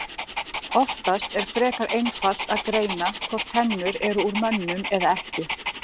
Oftast er frekar einfalt að greina hvort tennur eru úr mönnum eða ekki.